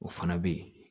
O fana bɛ yen